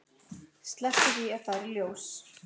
Slepptu því að fara í ljós.